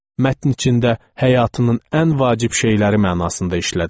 Mətn içində həyatının ən vacib şeyləri mənasında işlənilib.